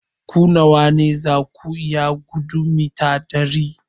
Ku nawa ne za ku iya gudun mita dari?